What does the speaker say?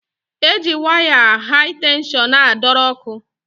E ji waya hai tenshọn a dọrọ ọkụ.